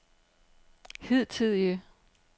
hidtidige